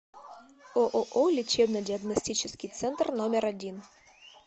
ооо лечебно диагностический центр номер один